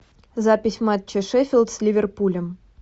запись матча шеффилд с ливерпулем